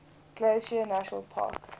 glacier national park